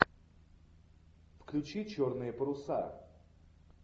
включи черные паруса